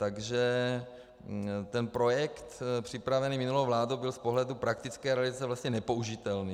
Takže ten projekt připravený minulou vládou byl z pohledu praktické realizace vlastně nepoužitelný.